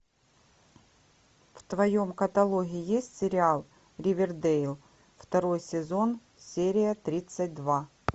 в твоем каталоге есть сериал ривердейл второй сезон серия тридцать два